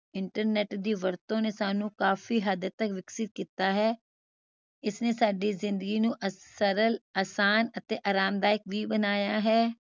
internet ਦੀ ਵਰਤੋਂ ਨੇ ਸਾਨੂੰ ਕਾਫੀ ਹੱਦ ਤਕ ਵਿਕਸਿਤ ਕੀਤਾ ਹੈ ਇਸਨੇ ਸਾਡੀ ਜ਼ਿੰਦਗੀ ਨੂੰ ਸਰਲ ਆਸਾਨ ਅਤੇ ਆਰਾਮਦਾਇਕ ਵੀ ਬਣਾਇਆ ਹੈ